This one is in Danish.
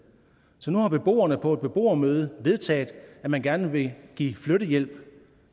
så nu har beboerne på et beboermøde vedtaget at man gerne vil give flyttehjælp